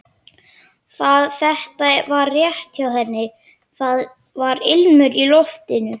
Þetta var rétt hjá henni, það var ilmur í loftinu.